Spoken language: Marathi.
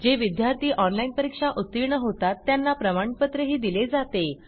जे विद्यार्थी ऑनलाईन परीक्षा उत्तीर्ण होतात त्यांना प्रमाणपत्रही दिले जाते